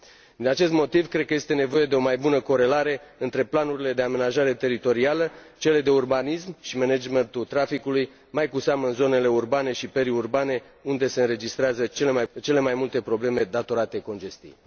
Din acest motiv, cred că este nevoie de o mai bună corelare între planurile de amenajare teritorială, cele de urbanism și managementul traficului, mai cu seamă în zonele urbane și periurbane, unde se înregistrează cele mai multe probleme datorate congestiei.